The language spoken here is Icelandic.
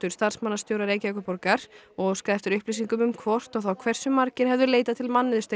starfsmannastjóra Reykjavíkurborgar og óskaði eftir upplýsingum um hvort og þá hversu margir hefðu leitað til